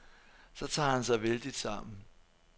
Så tager han sig vældigt sammen.